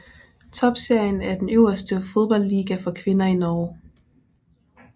Toppserien er den øverste fodboldliga for kvinder i Norge